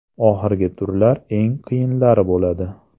Oxirgi turlar eng qiyinlari bo‘ladi.